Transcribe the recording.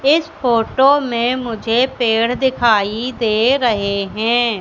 इस फोटो में मुझे पेड़ दिखाई दे रहे है।